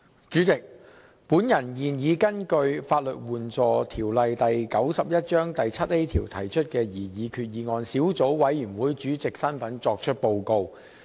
主席，我現以根據《法律援助條例》第 7a 條提出的擬議決議案小組委員會主席的身份作出報告。